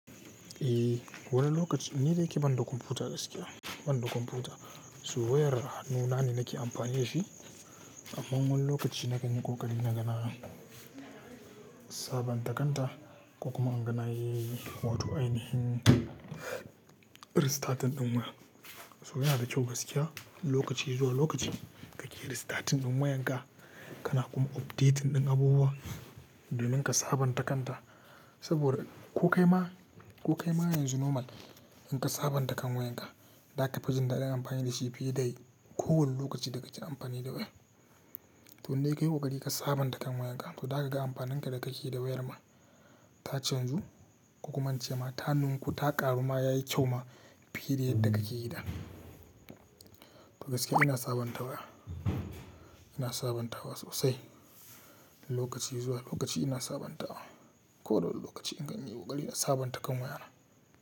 Eh, wani lokaci ni da yake banda kwamfuta gaskiya, banda kwamfuta. So wayar hanunane nake amfani da shi, amma wani lokaci nakan yi ƙoƙari na gana sabanta kanta ko kuma angana yi wato ainihin restarting ɗin waya. So yana da kyau gaskiya lokaci zuwa lokaci kake restarting ɗin wayanka kana kuma update ɗin abubuwa domin ka sabanta kanta. Saboda ko kaima, ko kaima yanzu normal in ka sabanta kan wayanka, da ka fi jin daɗin amfani da shi fiye da kowane lokaci da kake amfani da waya. To in dai kayi ƙoƙari ka sabanta kan wayanka to za ka ga amfanin da kake yi da wayar ma ta canzu kuma an ce ma ta nunku ta ƙaru ma yayi kyau ma fiye da yadda kake yi da. To gaskiya ina sabantawa, ina sabantawa sosai. Lokaci zuwa lokaci ina sabantawa. Ko da wani lokaci in kayi ƙoƙari na sabanta kan wayana.